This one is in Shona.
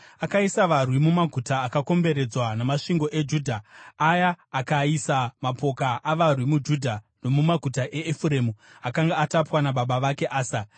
Akaisa varwi mumaguta akakomberedzwa namasvingo eJudha aya akaisa mapoka avarwi muJudha nomumaguta eEfuremu akanga atapwa nababa vake Asa.